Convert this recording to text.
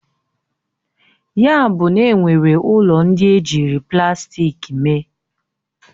Ya buna enwere ụlọ ndị ejiri plastik mee?